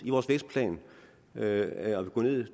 i vores vækstplan ved at gå ned